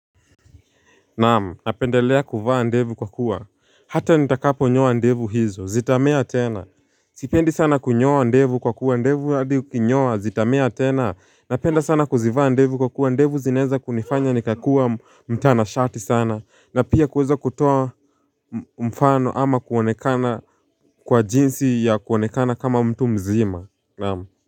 Naam, napendelea kuvaa ndevu kwa kuwa, hata nitakapo nyoa ndevu hizo, zitamea tena Sipendi sana kunyoa ndevu kwa kuwa, ndevu hadi ukinyoa, zitamea tena, napenda sana kuzivaa ndevu kwa kuwa, ndevu zinaeza kunifanya nikakua mtanashati sana, na pia kuweza kutoa mfano ama kuonekana kwa jinsi ya kuonekana kama mtu mzima, naam.